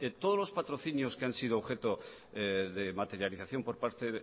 todos los patrocinios que han sido objeto de materialización por parte